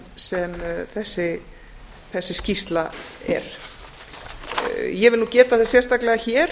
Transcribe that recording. sem þessi skýrsla er ég vil nú geta þess sérstaklega hér